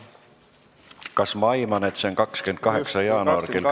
Kas ma aiman õigesti, et see on 28. jaanuar kell 10?